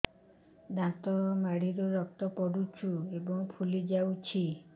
ଦାନ୍ତ ମାଢ଼ିରୁ ରକ୍ତ ପଡୁଛୁ ଏବଂ ଫୁଲି ଯାଇଛି